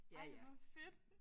Ej hvor fedt